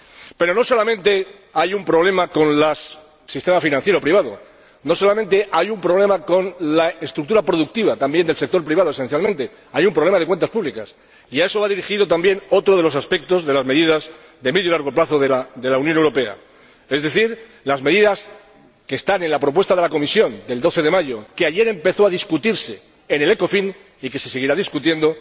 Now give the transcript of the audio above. Pero no solamente hay un problema con el sistema financiero privado, no solamente hay un problema con la estructura productiva, también del sector privado esencialmente hay un problema de cuentas públicas, al que va dirigido, también, otro de los aspectos de las medidas de medio y largo plazo de la Unión Europea, es decir, las medidas que están en la propuesta de la Comisión del 12 de mayo que ayer empezó a debatirse en el Ecofin y que se seguirá debatiendo.